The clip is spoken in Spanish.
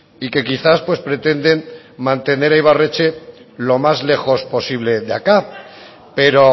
y que quizás pues pretenden mantener a ibarretxe lo más lejos posible de acá pero